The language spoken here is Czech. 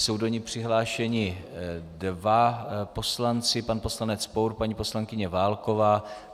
Jsou do ní přihlášeni dva poslanci - pan poslanec Pour, paní poslankyně Válková.